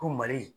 Ko mali